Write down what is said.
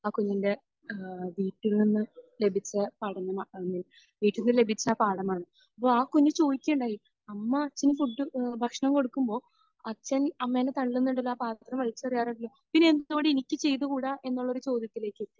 ആ കുഞ്ഞിന്റെ ഏഹ് വീട്ടിൽ നിന്ന് ലഭിച്ച പഠനം അങ്ങനെയാണ്. വീട്ടിൽ നിന്ന് ലഭിച്ച പാഠമാണ്. അപ്പോൾ ആ കുഞ്ഞ് ചോദിക്കുകയുണ്ടായി, അമ്മ അച്ഛന് ഫുഡ് ഭക്ഷണം കൊടുക്കുമ്പോൾ അച്ഛൻ അമ്മയെ തല്ലുന്നുണ്ടല്ലോ. ആ പാത്രം വലിച്ചെറിയാറുണ്ടല്ലോ. പിന്നെ എന്ത് കൊണ്ട് എനിക്ക് ചെയ്തുകൂടാ? എന്നുള്ള ഒരു ചോദ്യത്തിലേക്ക് എത്തി